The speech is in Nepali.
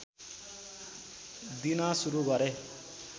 दिन सुरु गरे